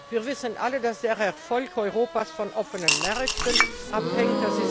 Wir wissen alle, dass der Erfolg Europas von offenen Märkten abhängt.